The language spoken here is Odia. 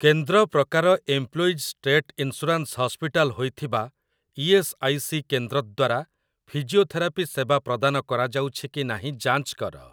କେନ୍ଦ୍ର ପ୍ରକାର ଏମ୍ପ୍ଲୋଇଜ୍ ଷ୍ଟେଟ୍ ଇନ୍ସୁରାନ୍ସ ହସ୍ପିଟାଲ୍ ହୋଇଥିବା ଇ.ଏସ୍. ଆଇ. ସି. କେନ୍ଦ୍ର ଦ୍ୱାରା ଫିଜିଓଥେରାପି ସେବା ପ୍ରଦାନ କରାଯାଉଛି କି ନାହିଁ ଯାଞ୍ଚ କର ।